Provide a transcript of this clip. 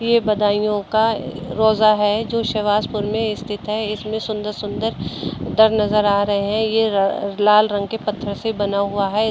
यह बदायूं का रोजा है जो सवाजपुर में स्थित है इसमें सुंदर-सुंदर नजर आ रहा है यह लाल रंग के पत्थर से बना हुआ है।